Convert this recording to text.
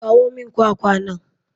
Kawo min kwakwa nan.